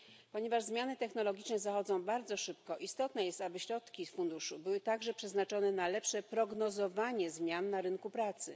Ponieważ zmiany technologiczne zachodzą bardzo szybko, istotne jest, aby środki z Funduszu były także przeznaczone na lepsze prognozowanie zmian na rynku pracy.